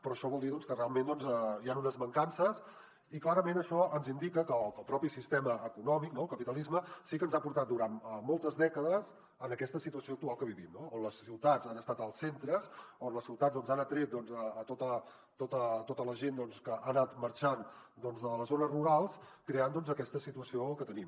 però això vol dir que realment hi han unes mancances i clarament això ens indica que el propi sistema econòmic no el capitalisme sí que ens ha portat durant moltes dècades a aquesta situació actual que vivim on les ciutats han estat els centres on les ciutats han atret tota la gent que ha anat marxant de les zones rurals creant aquesta situació que tenim